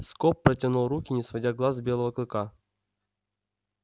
скоп протянул руки не сводя глаз с белого клыка